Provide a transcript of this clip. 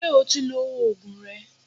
Ṣé o ti lo Ògùn rẹ?